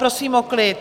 Prosím o klid!